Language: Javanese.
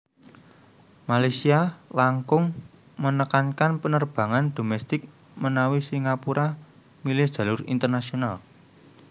Malaysia langkung menekankan penerbangan domestik menawi Singapura milih jalur internasional